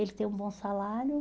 Ele tem um bom salário.